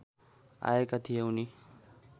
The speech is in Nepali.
आएका थिए उनी